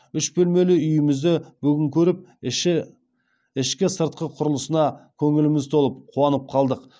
үш бөлмелі үйімізді бүгін көріп ішкі сыртқы құрылысына көңіліміз толып қуанып қалдық